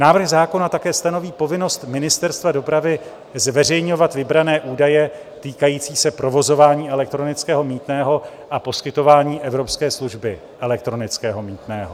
Návrh zákona také stanoví povinnost ministerstva dopravy zveřejňovat vybrané údaje týkající se provozování elektronického mýtného a poskytování evropské služby elektronického mýtného.